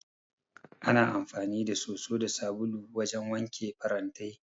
Ana amfani da soso da sabulu wajen wanke farantai.